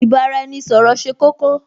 Ì bá-ra-ẹni-ṣọ̀rọ̀ ṣe kókó